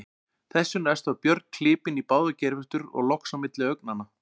Þessu næst var Björn klipinn í báðar geirvörtur og loks á milli augnanna.